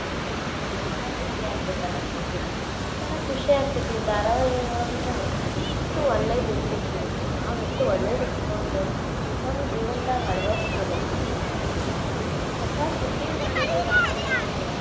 ಅನ್ಬೇಕ್ ನೋಡ್ರಿ ಹಂಗ ರೆಡಿ ಆಗ್ಬೇಕ್ ಅನಸ್ತೇತಿ. ಒಂಥರಾ ಖುಷಿ ಆಗ್ತೇತಿ, ಧಾರಾವಾಹಿಯೊಳ್ಗನೂ ಎಷ್ಟು ಒಳ್ಳೇದ್ ಇರ್ತೇತಿ, ನಾವ್ ಎಷ್ಚ ಒಳ್ಳೇದ್ ಇಟ್ಕೊಂಡ , ನಮ್ ಜೀವ್ನದಾಗ್ ಅಳವಡ್ಸಿಕೊಬೇಕ್ ಇದನ್ನೆಲ್ಲಾ. ಒಂದ್ ಹೊಸಾ ತಿಂಡಿ ಮಾಡಿದ್ರೂ ಧಾರಾವಾಹಿಯೊಳಗ.